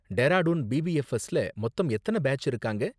டேராடூன் பிபிஎஃப்எஸ் ல மொத்தம் எத்தன பேட்ச் இருக்காங்க